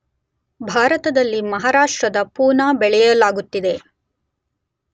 ಭಾರತದಲ್ಲಿ ಮಹಾರಾಷ್ಟ್ರದ ಪೂನಾ ಬೆಳೆಯಲಾಗುತ್ತದೆ